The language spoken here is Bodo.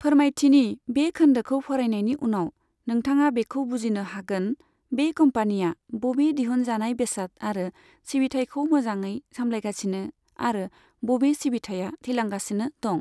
फोरमायथिनि बे खोन्दोखौ फरायनायनि उनाव, नोंथाङा बेखौ बुजिनो हागोन बे कम्पानिया बबे दिहुनजानाय बेसाद आरो सिबिथायखौ मोजाङै सामलायगासिनो आरो बबे सिबिथाइआ थैलांगासिनो दं।